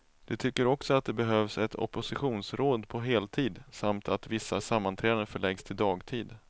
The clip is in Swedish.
De tycker också att det behövs ett oppositionsråd på heltid, samt att vissa sammanträden förläggs till dagtid.